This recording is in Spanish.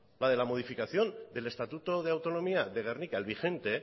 la de la modificación del estatuto de autonomía de gernika el vigente